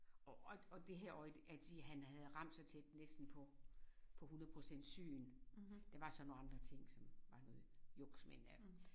Og og og det her øje det at han havde ramt næsten så tæt næsten på på 100 procent syn der var så nogle andre ting som var noget juks ik men øh